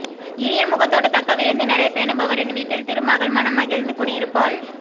இனிய முகத்தோடு தக்க விருந்தினரைப் பேணுபவரின் வீட்டில் திருமகள் மனம் மகிழ்ந்து குடி இருப்பாள்